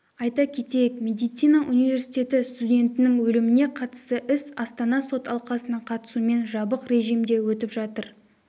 айта кетейік медицина университеті студентінің өліміне қатысты іс астанада сот алқасының қатысуымен жабық режимде өтіп жатыр